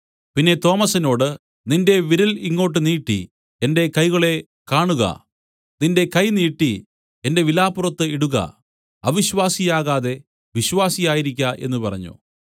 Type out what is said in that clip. പിന്നെ തോമസിനോട് നിന്റെ വിരൽ ഇങ്ങോട്ട് നീട്ടി എന്റെ കൈകളെ കാണുക നിന്റെ കൈ നീട്ടി എന്റെ വിലാപ്പുറത്ത് ഇടുക അവിശ്വാസി ആകാതെ വിശ്വാസിയായിരിക്ക എന്നു പറഞ്ഞു